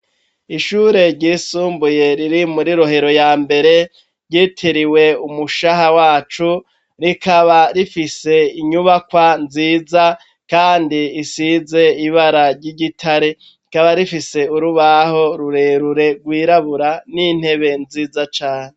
Ishure ryisumbuye riri muri Rohero yambere yitiriwe Umushaha wacu rikaba rifise inyubakwa nziza risize ibara ryigitare rikaba rifise urubaho rurerure rwirabura nintebe nziza cane.